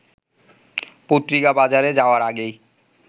পত্রিকা বাজারে যাওয়ার আগেই